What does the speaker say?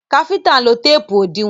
Káfíntà ń lo téèpù òdiwọ́n.